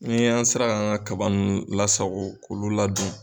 Ni y'an sera k'an an ka kaba ninnu lasago k'olu ladon.